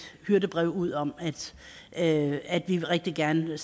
hyrdebrev ud om at vi rigtig gerne